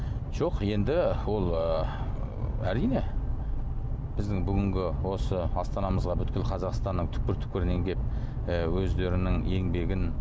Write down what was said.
жоқ енді ол ы әрине біздің бүгінгі осы астанамызға бүкіл қазақстанның түкпір түкпірінен келіп і өздерінің еңбегін